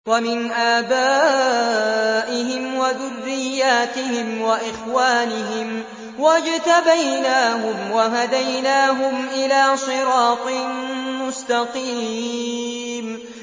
وَمِنْ آبَائِهِمْ وَذُرِّيَّاتِهِمْ وَإِخْوَانِهِمْ ۖ وَاجْتَبَيْنَاهُمْ وَهَدَيْنَاهُمْ إِلَىٰ صِرَاطٍ مُّسْتَقِيمٍ